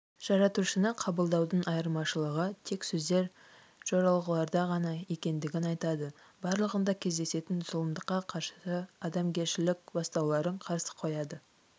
жаратушыны қабылдаудың айырмашылығы тек сөздер жоралғыларда ғана екендігін айтады барлығында кездесетін зұлымдыққа қарсы адамгершілік бастауларын қарсы қояды